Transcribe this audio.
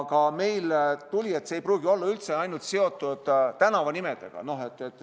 See ei pruugi olla üldse ainult seotud tänavanimedega.